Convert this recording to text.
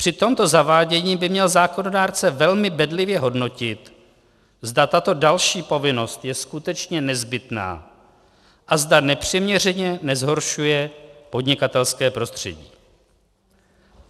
Při tomto zavádění by měl zákonodárce velmi bedlivě hodnotit, zda tato další povinnost je skutečně nezbytná a zda nepřiměřeně nezhoršuje podnikatelské prostředí.